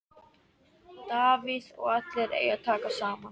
Davíð: Og allir eiga að taka saman.